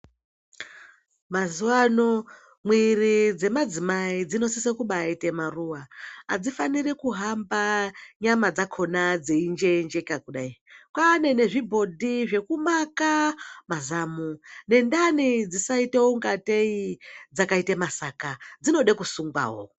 Mazuva ano mwiri dzemadzimai dzinosise kubaaita maruva , adzifaniri kuhambe nyama dzakona dzeinjeenjeka kudai kwane zvibhodhi zvekumama mazamo nendani dzisaita kungatei dzakaita masaka dzinoda kusungwawo.